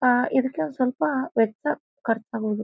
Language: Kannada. ಆಹ್ಹ್ ಇದಕ್ಕೆ ಒಂದ್ ಸ್ವಲ್ಪ ವೆಚ್ಚ ಖರ್ಚ್ ಆಗುದು.